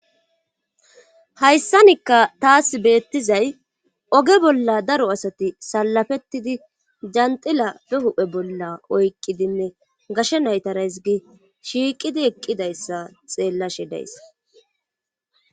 hayssanikka taas beettizay oge bolla daro asati salafettidi yanxila be hu7e bolla oyqqidinne gashe naytarays gi shiiqidi eqqidayssa xeellashe dayis.